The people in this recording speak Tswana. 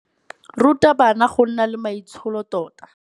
Ruta bana go nna le maitsholo tota.